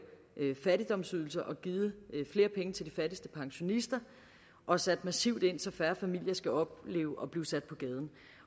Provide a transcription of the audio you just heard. fattigdomsydelser og givet flere penge til de fattigste pensionister og sat massivt ind så færre familier skal opleve at blive sat på gaden